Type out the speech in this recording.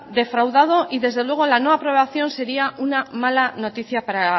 defraudado y desde luego la no aprobación sería una mala noticia para